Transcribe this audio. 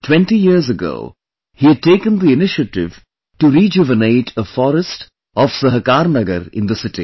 20 years ago, he had taken the initiative to rejuvenate a forest of Sahakarnagar in the city